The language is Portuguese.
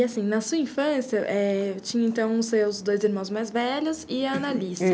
E assim, na sua infância, é tinha então os seus dois irmãos mais velhos e a Anna Alice.